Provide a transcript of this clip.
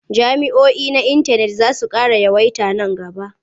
Jami'oi na intanet za su ƙara yawaita man gaba.